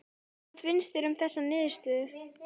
Hvað finnst þér um þessa niðurstöðu?